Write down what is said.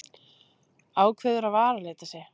Ákveður að varalita sig.